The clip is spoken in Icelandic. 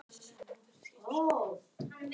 Þriðja rúmið var á móti innganginum.